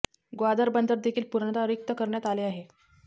ग्वादर बंदर देखील पूर्णता रिक्त करण्यात आले आहे